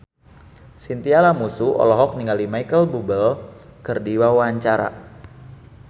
Chintya Lamusu olohok ningali Micheal Bubble keur diwawancara